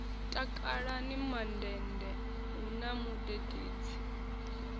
takalani mandende hu na mudededzi